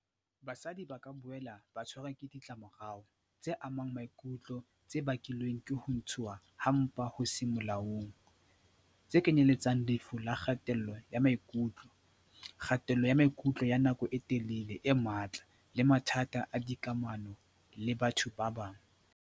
"Basadi ba ka boela ba tshwarwa ke ditlamorao tse amang maikutlo tse bakilweng ke ho ntshuwa ha mpa ho seng molaong, tse kenyeletsang lefu la kgatello ya maikutlo, kgatello ya maikutlo ya nako e telele e matla le mathata a dikamano le batho ba bang."